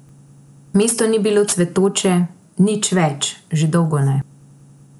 Mesto ni bilo cvetoče, nič več, že dolgo ne.